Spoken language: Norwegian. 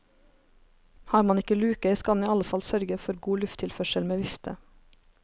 Har man ikke luker, skal en i alle fall sørge for god lufttilførsel med vifte.